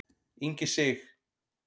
Ingi Sig.